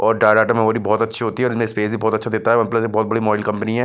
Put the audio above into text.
और बहुत अच्छी होती है और इसमें स्पेस भी बहुत अच्छा देता है और प्लस ये बहुत बड़ी मॉडल कंपनी है।